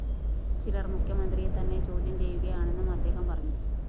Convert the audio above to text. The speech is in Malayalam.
ചിലര്‍ മുഖ്യമന്ത്രിയെ തന്നെ ചോദ്യം ചെയ്യുകയാണെന്നും അദ്ദേഹം പറഞ്ഞു